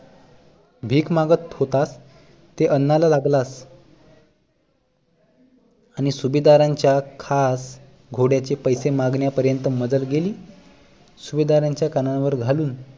भीक मागत होतास ते अन्नाला लागलास आणि सुभेदारांच्या खास घोड्याचे पैसे मागण्या पर्यन्त मजल गेली सुभेदारांच्या कानावर घालून